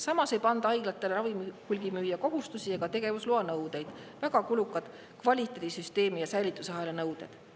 Samas ei panda haiglatele ravimite hulgimüüja kohustusi ega tegevusloa nõudeid, väga kulukaid kvaliteedisüsteemi ja säilitusahela nõudeid.